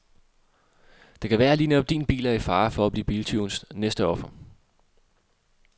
Det kan være at lige netop din bil er i fare for at blive biltyvens næste offer.